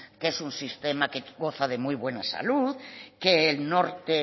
que es un sistema que goza de muy buena salud que el norte